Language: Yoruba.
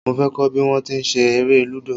Mo fẹ́ kọ́ bí wón ti ń ṣe eré Lúdò.